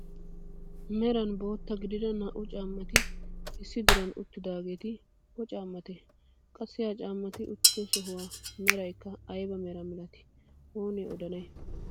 Meran bootta gidida naa"u caammati issi diran uttidaageeti o caammatee? Qassi ha caammati uttido sohuwaa meraykka ayba meraa milatii oonee odanay?